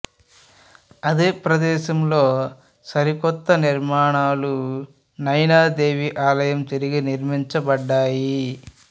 అదే ప్రదేశంలో సరికొత్త నిర్మాణాలు నైనాదేవి ఆలయం తిరిగి నిర్మించబడ్డాయి